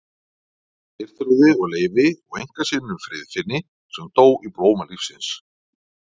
Geirþrúði og Leifi og einkasyninum Friðfinni sem dó í blóma lífsins.